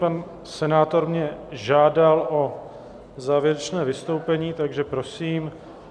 Pan senátor mě žádal o závěrečné vystoupení, takže prosím.